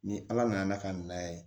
Ni ala nana ka na ye